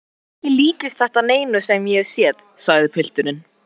Ekki líkist þetta neinu sem ég hef séð, sagði pilturinn.